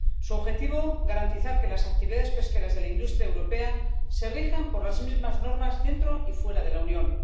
Su objetivo, garantizar que las actividades pesqueras de la industria europea se rijan por las mismas normas dentro y fuera de la Unión.